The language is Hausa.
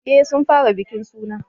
Eh sun fara bikin suna